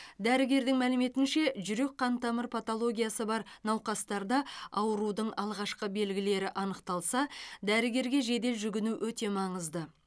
дәрігердің мәліметінше жүрек қантамыр патологиясы бар науқастарда аурудың алғашқы белгілері анықталса дәрігерге жедел жүгіну өте маңызды